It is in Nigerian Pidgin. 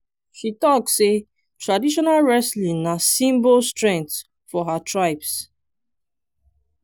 she tok sey traditional wrestling na symbol strength for her tribes.